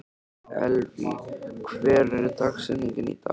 Elvý, hver er dagsetningin í dag?